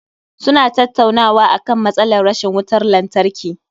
Suna tattaunawa akan matsalar rashin wutar lantarki